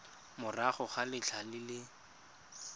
morago ga letlha le le